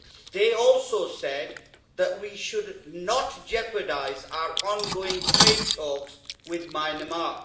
They also said that we should not jeopardise our on going trade talks with Myanmar.